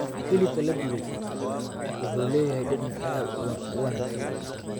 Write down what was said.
Hilibka la dubay wuxuu leeyahay dhadhan aad u wanaagsan.